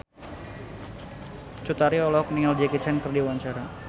Cut Tari olohok ningali Jackie Chan keur diwawancara